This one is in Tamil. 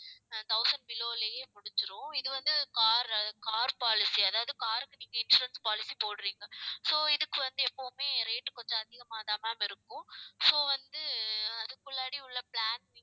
ஆஹ் thousand below லயே முடிஞ்சிரும். இது வந்து car, car policy அதாவது car க்கு நீங்க insurance policy போடுறீங்க so இதுக்கு வந்து எப்பவுமே rate கொஞ்சம் அதிகமாதான் ma'am இருக்கும். so வந்து அதுக்கு உள்ள plan